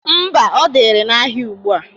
Ḿbà, ọ dịrị n'ahịa ugbua.